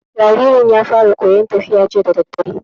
Jaririn ya fara koyan tafiya jiya dadadare